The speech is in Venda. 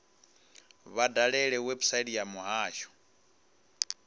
vha dalele website ya muhasho